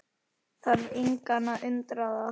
Þarf engan að undra það.